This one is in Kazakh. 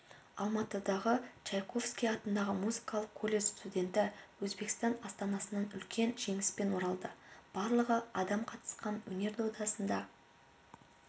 алматыдағы чайковский атындағы музыкалық колледж студенті өзбекстан астанасынан үлкен жеңіспен оралды барлығы адам қатысқан өнер додасында